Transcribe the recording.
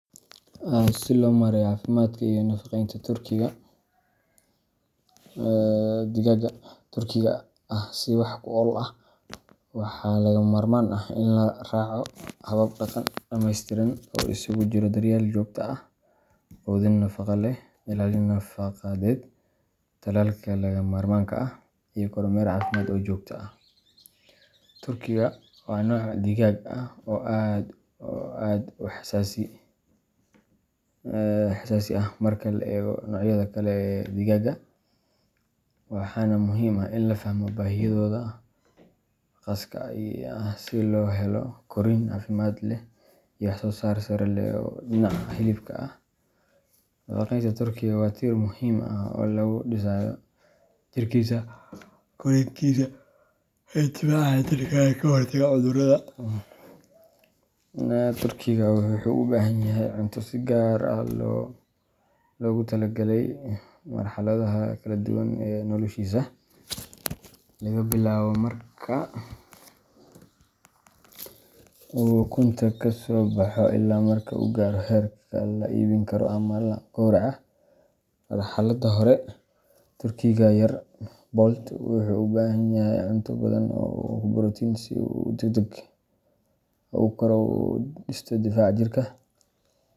Si loo maareeyo caafimaadka iyo nafaqeynta turkiga digaagga Turkiga ah si wax ku ool ah, waxaa lagama maarmaan ah in la raaco hab-dhaqan dhameystiran oo isugu jira daryeel joogto ah, quudin nafaqo leh, ilaalin nadaafadeed, tallaalka lagama maarmaanka ah, iyo kormeer caafimaad oo joogto ah. Turkiga waa nooc digaag ah oo aad u xasaasi ah marka loo eego noocyada kale ee digaagga, waxaana muhiim ah in la fahmo baahiyahooda khaaska ah si loo helo korriin caafimaad leh iyo wax-soo-saar sare oo dhinaca hilibka ah. Nafaqeynta turkiga waa tiir muhiim ah oo lagu dhisayo jirkiisa, korriinkiisa iyo difaaca jirka ee ka hortaga cudurrada. Turkiga wuxuu u baahan yahay cunto si gaar ah loogu talagalay marxaladaha kala duwan ee noloshiisa laga bilaabo marka uu ukunta ka soo baxo ilaa marka uu gaaro heerka la iibin karo ama la gowraco. Marxaladda hore, turkiga yar poult wuxuu u baahan yahay cunto hodan ku ah borotiin si uu si degdeg ah u koro una dhisto difaaca jirka.